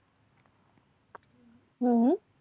હમ